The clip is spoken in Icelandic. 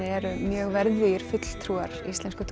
eru mjög verðugir fulltrúar íslensku